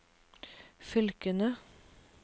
fylkene